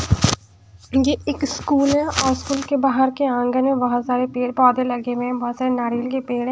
ये एक स्कूल हैऔर के बाहर के आंग में बहुत सारे पीर पौधे लगे हुए हैं बहुत सारे नारियल के पीर--